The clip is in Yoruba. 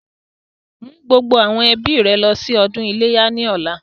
Mú gbogbo àwọn ẹbí rẹ lọ sí ọdún iléyá ni ọ̀la!